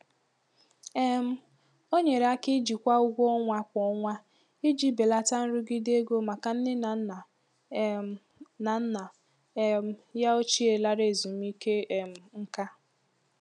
um O nyere aka ijikwa ụgwọ ọnwa kwa ọnwa iji belata nrụgide ego maka nne na nna um na nna um ya ochie lara ezumike um nká.